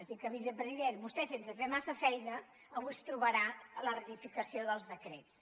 és a dir que vicepresident vostè sense fer massa feina avui es trobarà la ratificació dels decrets